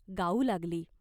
गाऊ लागली.